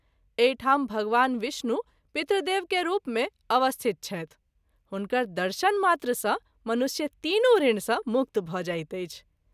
एहि ठाम भगवान विष्णु पितृदेव के रूप मे अवस्थित छथि हुनकर दर्शन मात्र सँ मनुष्य तीनू ऋण सँ मुक्त भ’ जाइत अछि।